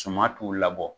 Suman t'u la bɔ